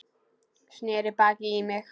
Sneri baki í mig.